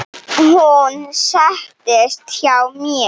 Hún settist hjá mér.